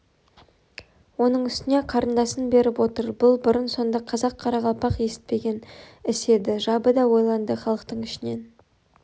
оның үстіне карындасын беріп отыр бұл бұрын-сонды қазақ-қарақалпақ есітпеген іс еді жабы да ойланды халықтың ішінен